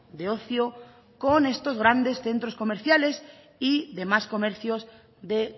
de ocio con estos grandes centros comerciales y demás comercios de